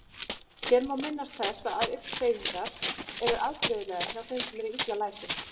Hér má minnast þess að augnhreyfingar eru afbrigðilegar hjá þeim sem eru illa læsir.